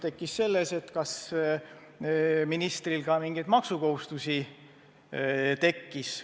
Tekkis küsimus, kas ministril ka mingeid maksukohustusi tekkis.